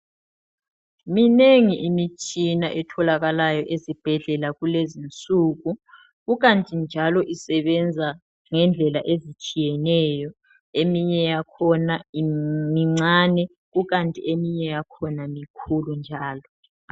Minengi imitshina etholakalayo ezibhedlela, kulezi insuku. Kukanti njalo isebenza ngendlela ezitshiyeneyo. Eminye yakhona mincane, Kukanti eminye yakhona mikhulu njalo.